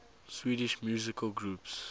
swedish musical groups